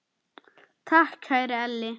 Takk, kæri Elli.